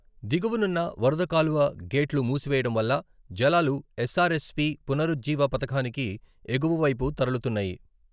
దిగువనున్న వరద కాలువ గేట్లు మూసివేయడం వల్ల జలాలు ఎస్సారెస్పీ పునరుజ్జీవ పథకానికి ఎగువవైపు తరలుతున్నాయి.